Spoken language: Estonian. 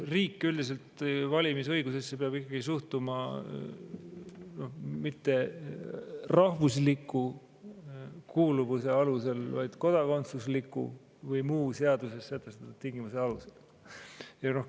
Riik peab valimisõigusesse üldiselt ikkagi suhtuma mitte rahvuslikust kuuluvusest, vaid kodakondsusest ja muudest seaduses sätestatud tingimustest.